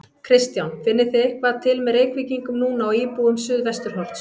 Kristján: Finnið þið eitthvað til með Reykvíkingum núna og íbúum Suðvesturhorns?